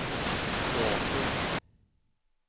teater